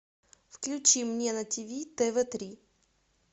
включи мне на тиви тв три